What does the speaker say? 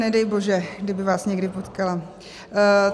Nedej bože, kdyby vás někdy potkala.